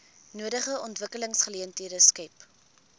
nodige ontwikkelingsgeleenthede skep